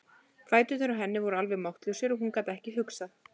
Fæturnir á henni voru alveg máttlausir og hún gat ekki hugsað.